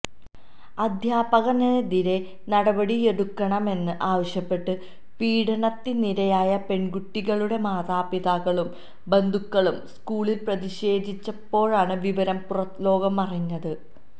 അധ്യാപകനെതിരെ നടപടിയെടുക്കണമെന്ന് ആവശ്യപ്പെട്ട് പീഡനത്തിനിരയായ പെണ്കുട്ടികളുടെ മാതാപിതാക്കളും ബന്ധുക്കളും സ്കൂളില് പ്രതിഷേധിച്ചപ്പോഴാണ് വിവരം പുറംലോകമറിഞ്ഞത്